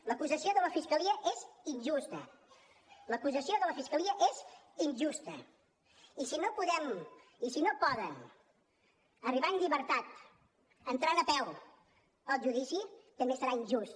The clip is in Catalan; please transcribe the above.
l’acusació de la fiscalia és injusta l’acusació de la fiscalia és injusta i si no poden arribar en llibertat entrant a peu al judici també serà injust